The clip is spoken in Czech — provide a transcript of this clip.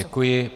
Děkuji.